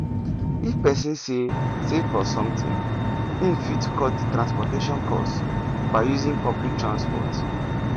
if person sey save for something im fit cut transportation cost by using public transport